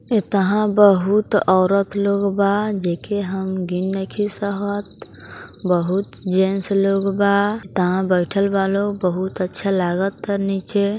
ऐतहा बहुत ओरत लोग बा जेके हम गीन नइखे सहत | बहुत जेंट्स लोग बा तहा बइठल बा लोग बहुत अच्छा लागता निचे |